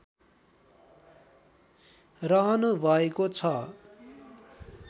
रहनुभएको छ